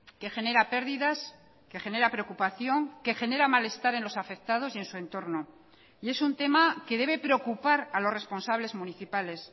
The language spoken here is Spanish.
que genera pérdidas que genera preocupación que genera malestar en los afectados y en su entorno y es un tema que debe preocupar a los responsables municipales